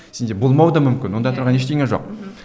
сенде болмауы да мүмкін онда тұрған ештеңе жоқ мхм